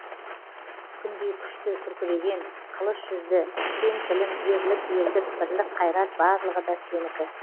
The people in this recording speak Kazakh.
күндей күшті күркіреген қылыш жүзді кең тілім ерлік елдік бірлік қайрат барлығы да сенікі